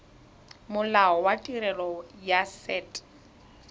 molao wa tirelo ya set